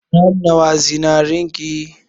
Gram nawa zinarin ki?